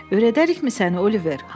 Öyrədərikmi səni Oliver?